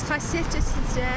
Bəs xasiyyətcə necə?